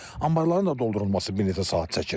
Anbarların da doldurulması bir neçə saat çəkir.